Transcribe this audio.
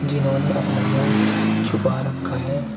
इन्होंने अपना मुं छुपा रखा है।